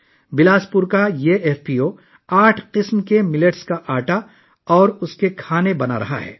بلاس پور کا یہ ایف پی او 8 قسم کے موٹے اناجوں کا آٹا اور ان کے پکوان تیار کر رہا ہے